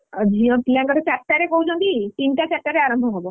ଅ ଝିଅ ପିଲାଙ୍କର ଚାରିଟାରେ କହୁଛନ୍ତି ତିନିଟା ଚାରିଟାରେ ଆରମ୍ଭ ହବ।